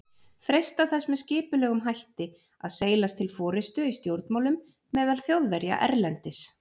freistað þess með skipulegum hætti að seilast til forystu í stjórnmálum meðal Þjóðverja erlendis.